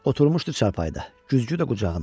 Oturmuşdu çarpayda, güzgü də qucağında.